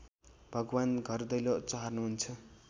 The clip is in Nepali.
भगवान् घरदैलो चहार्नुहुन्छ